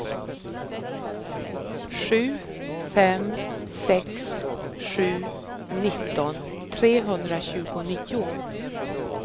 sju fem sex sju nitton trehundratjugonio